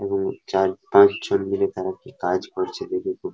ওপরে চার পাঁচজন মিলে তারা কি কাজ করছে দেখে খুব ভা--